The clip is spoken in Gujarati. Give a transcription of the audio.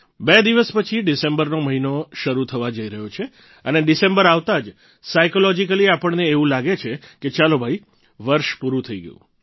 બે દિવસ પછી ડિસેમ્બરનો મહિનો શરૂ થવા જઈ રહ્યો છે અને ડિસેમ્બર આવતા જ સાઈકોલોજીકલી આપણને એવું લાગે છે કે ચાલો ભઈ વર્ષ પૂરું થઈ ગયું